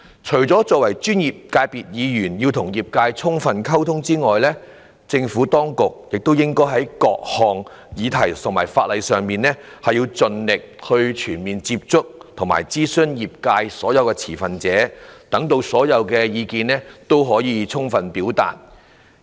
除了專業界別的議員要與業界充分溝通之外，政府當局也應該在各項議題和法例上，盡力全面接觸和諮詢業界所有持份者，讓所有意見均能充分表達。